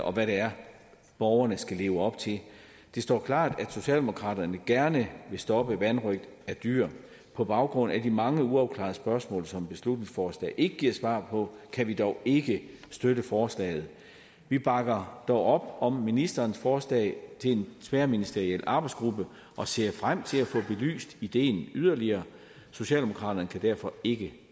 og hvad det er borgerne skal leve op til det står klart at socialdemokraterne gerne vil stoppe vanrøgt af dyr på baggrund af de mange uafklarede spørgsmål som beslutningsforslaget ikke giver svar på kan vi dog ikke støtte forslaget vi bakker dog op om ministerens forslag til en tværministeriel arbejdsgruppe og ser frem til at få belyst ideen yderligere socialdemokraterne kan derfor ikke